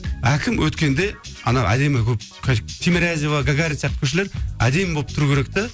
әкім өткенде ана әдемі болып темирязева гагарина сияқты көшелер әдемі болып тұру керек те